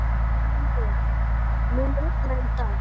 Arnviður, mun rigna í dag?